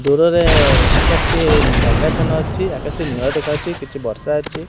ଦୂରରେ ଆକାଶ୍ ଟିଏ ମେଘାଛନ ଅଛି ଆକାଶ୍ ଟି ନୀଳ ଦେଖାହୋଉଛି କିଛି ବର୍ଷା ଅଛି।